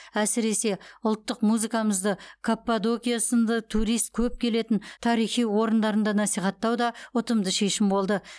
әсіресе ұлттық музыкамызды каппадокия сынды турист көп келетін тарихи орындарында насихаттау да ұтымды шешім болды